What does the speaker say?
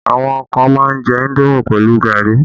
Àwọn kan má ń jẹ indomi pẹ̀lú gari